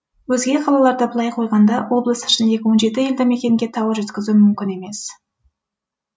өзге қалаларды былай қойғанда облыс ішіндегі елді мекенге тауар жеткізу мүмкін емес